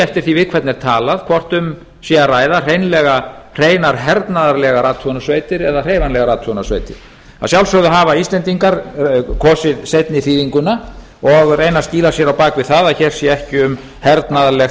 eftir því við hvern er talað hvort um sé hreinlega að ræða hreinar hernaðarathugunarsveitir eða hreyfanlegar athugunarsveitir að sjálfsögðu hafa íslendingar kosið seinni þýðinguna og reyna að skýla sér á bak við það að hér sé ekki um hernaðarlegt